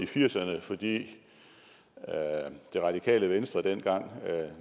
firserne fordi det radikale venstre dengang